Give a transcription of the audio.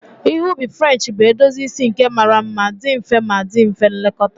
Ihe ubi French bụ edozi isi nke mara mma, dị mfe ma dị mfe ilekọta